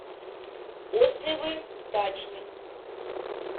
отзывы дачник